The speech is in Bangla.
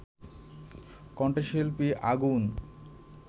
কণ্ঠশিল্পী আগুন